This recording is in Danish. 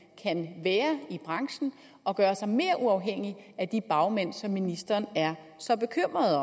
kan være i branchen og gøre sig mere uafhængig af de bagmænd som ministeren er så bekymret